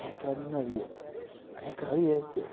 É aquela menina ali, ó. É aquela ali, esse, é.